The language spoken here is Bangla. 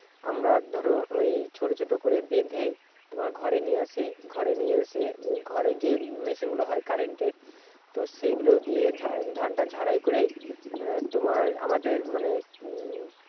আমরা ধরো ঐ ছোট ছোট করে বেঁধে তোমার ঘরে নিয়ে আসি। ঘরে নিয়ে এসে, ঘরে যে মেশিনগুলো হয় current এর সেগুলো দিয়ে ধানটা ঝাড়াই করে তোমার আমাদের উম মানে উম